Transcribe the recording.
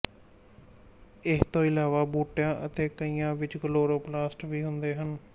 ਇਹਤੋਂ ਇਲਾਵਾ ਬੂਟਿਆਂ ਅਤੇ ਕਾਈਆਂ ਵਿੱਚ ਕਲੋਰੋਪਲਾਸਟ ਵੀ ਹੁੰਦੇ ਹਨ